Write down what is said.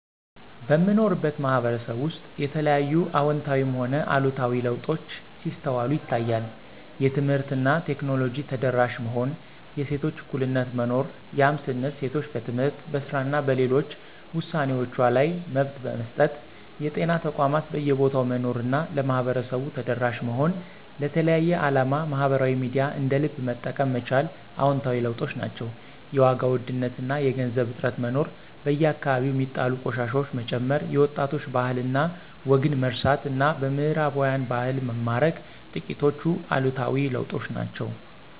በምኖርበት ማህበረሰብ ውስጥ የተለያዩ አወንታዊም ሆነ አሉታዊ ለውጦች ሲስተዋሉ ይታያል። የትምህርት እና ቴክኖሎጂ ተደራሽ መሆን፣ የሴቶች እኩልነት መኖር ያም ስንል ሴቶች በትምህርት፣ በስራ እና ሌሎች ውሳኔወችዋ ላይ መብት መሰጠት፣ የጤና ተቋማት በየቦታው መኖር እና ለማህበረሰቡ ተደራሽ መሆን፣ ለተለያየ አላማ ማህበራዊ ሚዲያን እንደ ልብ መጠቀም መቻል አወንታዊ ለውጦች ናቸው። የዋጋ ውድነት እና የገንዘብ እጥረት መኖር፣ በየአከባቢው ሚጣሉ ቆሻሻወች መጨመር፣ የወጣቶች ባህል እና ወግን መርሳት እና በምህራባውያን ባህል መማረክ ጥቂቶቹ አሉታዊ ለውጦች ናቸው።